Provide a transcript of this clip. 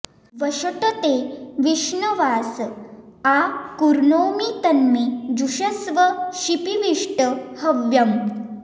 वषट् ते विष्णवास आ कृणोमि तन्मे जुषस्व शिपिविष्ट हव्यम्